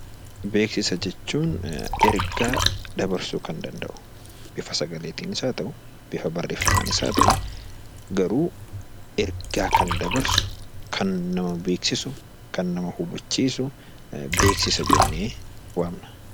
Beeksisa jechuun ergaa dabarsuu kan danda'u, bifa sagaleetiin haa ta'uu, bifa barreeffamaanis haa ta'uu, garuu ergaa kan dabarsu, kan nama beeksisu, kan nama hubachiisu, beeksisa jennee waamna.